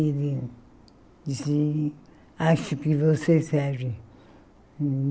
Ele disse, acho que você serve.